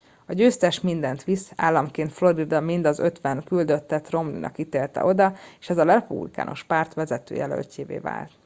a győztes mindent visz államként florida mind az ötven küldöttet romney nak ítélte oda és ezzel a republikánus párt vezető jelöltjévé vált